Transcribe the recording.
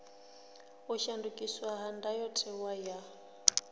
u shandukiswa ha ndayotewa ya